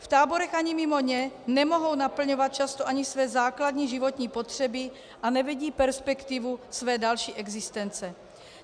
V táborech ani mimo ně nemohou naplňovat často ani své základní životní potřeby a nevidí perspektivu své další existence.